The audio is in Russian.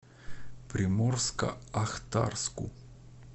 приморско ахтарску